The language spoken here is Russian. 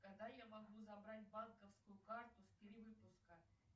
когда я могу забрать банковскую карту с перевыпуска